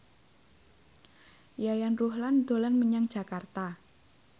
Yayan Ruhlan dolan menyang Jakarta